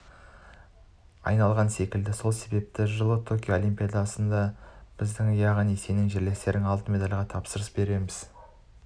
айналған секілді сол себепті жылы токио олимпиадасында біз яғни сенің жерлестерің алтын медальға тапсырыс береміз